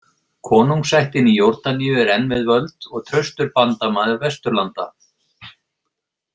Konungsættin í Jórdaníu er enn við völd og traustur bandamaður Vesturlanda.